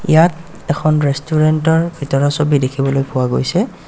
ইয়াত এখন ৰেষ্টোৰেন্ত ৰ ভিতৰৰ ছবি দেখিবলৈ পোৱা গৈছে.